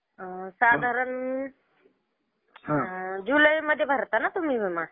साधारण जुलै मध्ये भरता ना तुम्ही विमा?